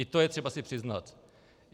I to je třeba si přiznat.